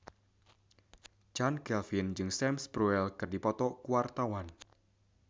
Chand Kelvin jeung Sam Spruell keur dipoto ku wartawan